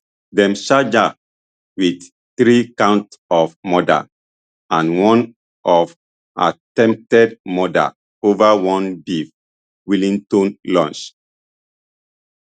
dem charge her wit three counts of murder and one of attempted murder ova one beef wellington lunch